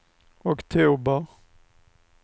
oktober